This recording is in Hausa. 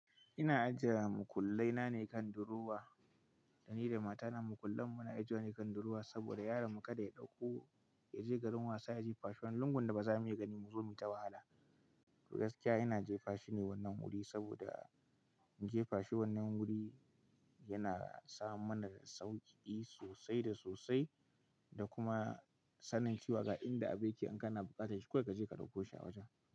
Ina ajiye mukullai na ne kan durowa, da ni da matana mukullan mu na ajiye wa ne kan durowa saboda yaron mu kada ya ɗauko ya je garin wasa ya je fashi wani lungun da ba za mu iya gani mu zo mu yi ta wahala. To gaskiya ina jefa shine wannan wuri saboda jefa shi wannan wuri yana sa mana da sauƙi sosai da sosai da kuma sanin cewa ga inda ake an kana buƙatar shi, kawai ka je ka ɗauko shi a wajen.